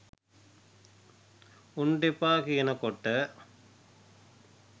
උන්ට එපා කියන කොට